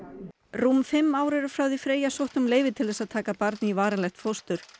rúm fimm ár eru frá því Freyja sótti um leyfi til að taka barn í varanlegt fóstur